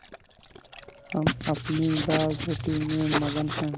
हम अपनी दालरोटी में मगन हैं